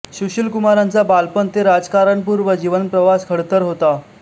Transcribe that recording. सुशीलकुमारांचा बालपण ते राजकारणपूर्व जीवन प्रवास खडतर होता